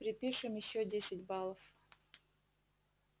припишем ещё десять баллов